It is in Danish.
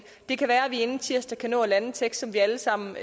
det kan være at vi inden tirsdag kan nå at lande en tekst som vi alle sammen